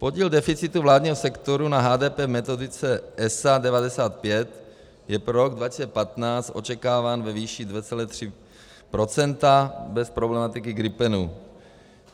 Podíl deficitu vládního sektoru na HDP metodice ESA 95 je pro rok 2015 očekáván ve výši 2,3 % bez problematiky gripenů.